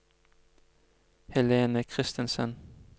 Helene Christensen